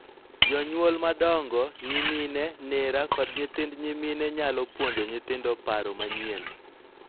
Jonyuol madongo, nyimine, nera, kod nyithind nyimine nyalo puonjo nyithindo paro manyien,